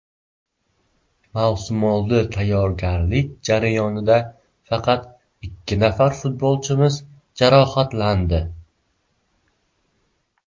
Mavsumoldi tayyorgarlik jarayonida faqat ikki nafar futbolchimiz jarohatlandi.